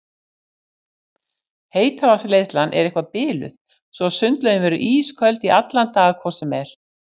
Heitavatnsleiðslan er eitthvað biluð svo að sundlaugin verður ísköld í allan dag hvort sem er.